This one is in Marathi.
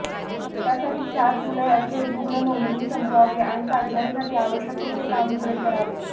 त्यासाठी सात जुलैअखेर रुग्ण नोंदणी संपवावी आणि चाचण्यांसाठी आवश्यक ते काम पुरे करावे